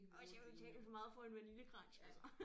Også jeg betaler for meget for en vaniljekrans altså